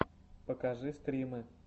покажи стримы